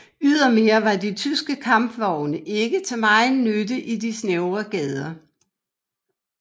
Ydermere var de tyske kampvogne ikke til megen nytte i de snævre gader